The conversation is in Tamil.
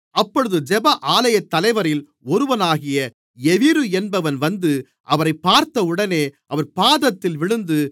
அப்பொழுது ஜெப ஆலயத்தலைவரில் ஒருவனாகிய யவீரு என்பவன் வந்து அவரைப் பார்த்தவுடனே அவர் பாதத்தில் விழுந்து